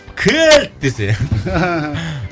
кілт десе